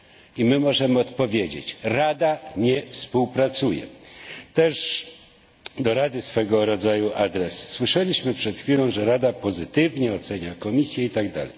I my możemy odpowiedzieć Rada nie współpracuje. Też do Rady swego rodzaju apel słyszeliśmy przed chwilą, że Rada pozytywnie ocenia Komisję itd.